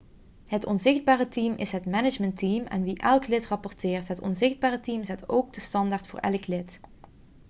het onzichtbare team' is het managementteam aan wie elk lid rapporteert het onzichtbare team zet ook de standaard voor elk lid